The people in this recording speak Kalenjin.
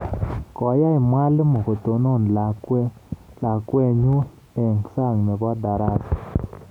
"Koyai mwalimoyot kotonon lakwetnyu eng sang nebo darasa."